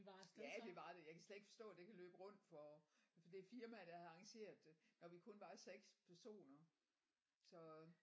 Ja det var det jeg kan slet ikke forstå det kan løbe rundt for for det firma der har arrangeret det når vi kun var 6 personer så